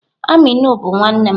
Aminu bu nwannem.